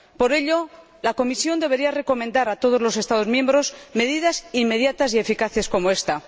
Por ello, la Comisión debería recomendar a todos los Estados miembros medidas inmediatas y eficaces como ésta.